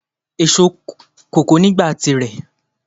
Èso kòkó ni ìgbà at àsìkò tí rẹ